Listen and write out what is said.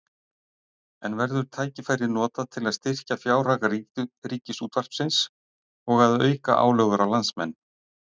En verður tækifærið notað til að styrkja fjárhag Ríkisútvarpsins og að auka álögur á landsmenn?